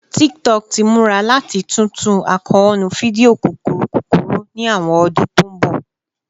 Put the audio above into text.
TikTok ti mura lati tuntu akoonu fidio kukuru kukuru ni awọn ọdun to n bọ